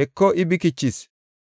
Heko I bikichis!